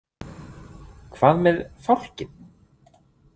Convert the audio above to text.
Hvað með“ Fálkinn „?